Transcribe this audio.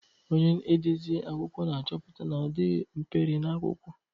Onye ndezi akụkọ na-achọpụta na ọ dịghị mperi na akwụkwọ.